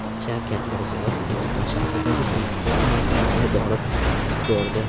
Shavkat Mirziyoyev Guliston shahridagi suv sporti majmuasini borib ko‘rdi.